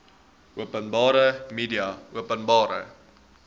openbare media openbare